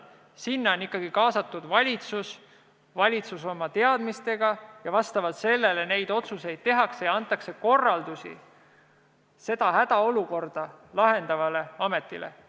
Sellisel juhul on kaasatud ikkagi valitsus oma teadmistega, vastavalt sellele neid otsuseid tehakse ja seejärel antakse korraldus hädaolukorda lahendavale ametile.